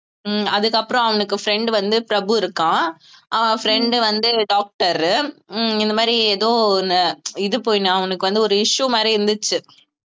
உம் அதுக்கப்புறம் அவனுக்கு friend வந்து பிரபு இருக்கான் அவன் friend வந்து doctor உ உம் இந்த மாதிரி ஏதோ ஒண்ணு இது போயி நான் உனக்கு வந்து ஒரு issue மாதிரி இருந்துச்சு